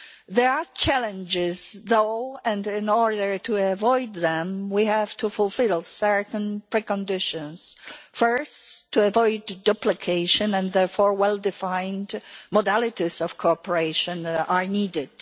There are challenges, though, and in order to avoid them we have to fulfil certain preconditions first to avoid duplication, and therefore well-defined modalities of cooperation that are needed.